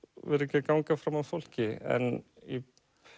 vera ekki að ganga fram af fólki en í